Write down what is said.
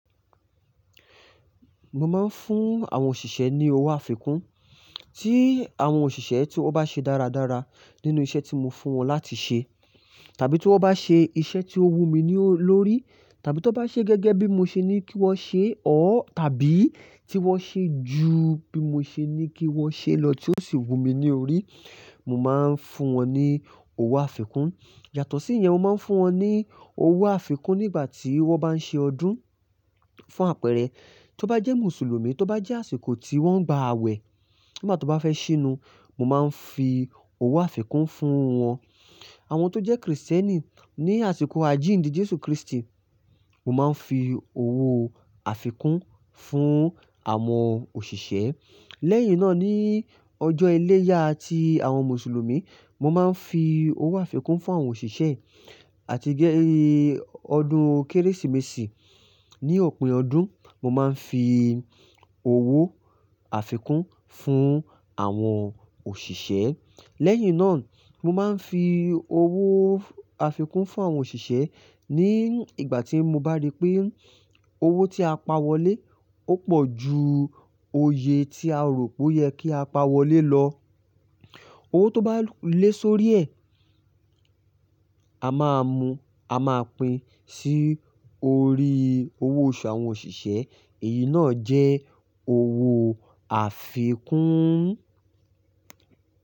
Mo máa ń fún àwọn òṣìṣẹ́ ní owó àfikún, tí àwọn òṣìṣẹ́ tí wọ́n bá ṣe dáradára nínú iṣẹ́ tí mo fún wọn láti ṣe, tàbí tí wọ́n bá ṣe iṣẹ́ tí ó wù mí lórí, tàbí tí wọ́n bá ṣe gẹ́gẹ́ bí mo ṣe ní kí wọ́n ṣe or, tàbí tí wọ́n ṣe ju bí mo ṣe ní kí wọ́n ṣe lọ tí ó sì wù mí ní orí, mo máa ń fún wọn ní owó àfikún. Yàtọ̀ sí ìyẹn, mo máa ń fún wọn ní owó àfikún nígbà tí wọ́n bá ń ṣe ọdún fún àpẹẹrẹ, tí ó bá jẹ́ Mùsùlùmí, tí ó bá jẹ́ àsìkò tí wọ́n ń gba awẹ, nígbà to bá fẹ́ ṣínu, mo máa ń fi owó àfikún fún wọn. Àwọn tó jẹ́ Kristẹni, ní àsìkò àjíǹde Jésù Kristi, mo máa ń fi owó àfikún fún àwọn òṣìṣẹ́. Lẹ́yìn náà ní ọjọ́ iléyá ti àwọn Mùsùlùmí, mo máa ń fi owó àfikún fún àwọn òṣìṣẹ́ àti gẹ́-- ọdún Kérésìmesì ní òpin ọdún, mo máa ń fi owó àfikún fún àwọn òṣìṣẹ́. Lẹ́yìn náà, mo máa ń fi owó àfikún fún àwọn òṣìṣẹ́ ní ìgbà tí mo bá rí pé owó tí a pa wọlé ó pọ̀ ju òye tí a rò pé ó yẹ kí a pa wọlé lọ. Owó tó bá lé sórí ẹ̀, a máa mu, a máa pín sí orí owó oṣù àwọn òṣìṣẹ́. Èyí náà jẹ́ owó àfikún.